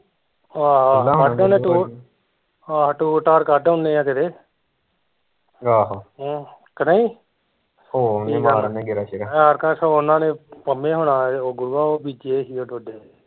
ਆਹੋ ਕੱਢ ਆਉਣੇ ਟੂਰ ਆਹੋ ਟੂਰ ਟਾਰ ਕੱਢ ਆਉਣੇ ਆ ਕਿਤੇ ਕਿ ਨਹੀਂ ਐਤਕਾਂ ਓਹਨਾਂ ਨੇ ਪਮੇ ਹੁਣਾ ਨੇ ਗੁਰੂਆ ਓਏ ਓਹ ਬੀਜੇ ਹੋਏ ਸੀ ਡੋਡੇ ਓਏ